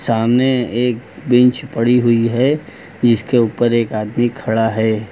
सामने एक बेंच पड़ी हुई है जिसके ऊपर एक आदमी खड़ा है।